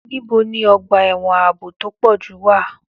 Níbo ni ọgbà ẹ̀wọ̀n ààbò tó pọ̀ jù wà?